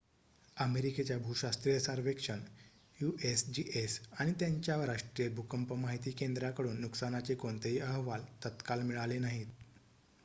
अमेरिकेच्या भूशास्त्रीय सर्वेक्षण यूएसजीएस आणि त्याच्या राष्ट्रीय भूकंप माहिती केंद्राकडून नुकसानाचे कोणतेही अहवाल तत्काळ मिळाले नाहीत